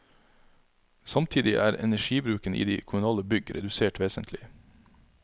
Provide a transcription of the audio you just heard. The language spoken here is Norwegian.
Samtidig er energibruken i de kommunale bygg redusert vesentlig.